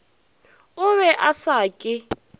o be a sa ke